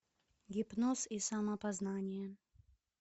гипноз и самопознание